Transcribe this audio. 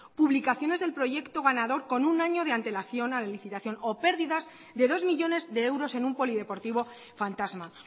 publicaciones del proyecto ganador con un año de antelación a la licitación o pérdidas de dos millónes de euros en un polideportivo fantasma